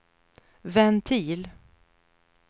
ventil